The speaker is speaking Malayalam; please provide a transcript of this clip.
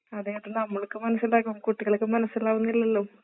അതേ അത് നമ്മൾക്ക് മനസ്സിലാകും കുട്ടികൾക്ക് മനസ്സിലാവുന്നില്ലല്ലോ